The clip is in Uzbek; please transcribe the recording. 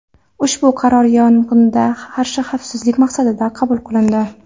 Ushbu qaror yong‘inga qarshi xavfsizlik maqsadida qabul qilindi.